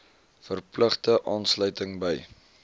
verpligte aansluiting by